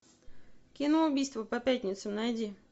кино убийства по пятницам найди